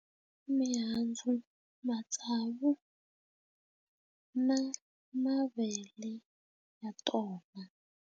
I mihandzu matsavu na mavele ya tona.